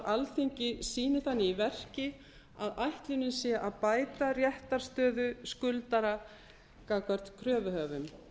alþingi sýni þannig í verki að ætlunin sé að bæta réttarstöðu skuldara gagnvart kröfuhöfum